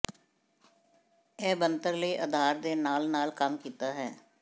ਇਹ ਬਣਤਰ ਲਈ ਅਧਾਰ ਦੇ ਨਾਲ ਨਾਲ ਕੰਮ ਕੀਤਾ ਹੈ